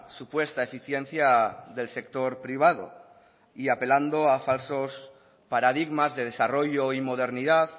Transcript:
supuesta eficiencia del sector privado y apelando a falsos paradigmas de desarrollo y modernidad